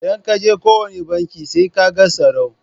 Idan ka je kowane banki sai ka ga tsaro.